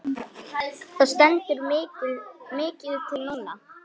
Það stendur mikið til núna.